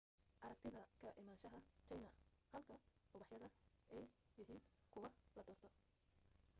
aragtida ka imanshaha china halka ubaxyada ay yahiin kuwa la doorto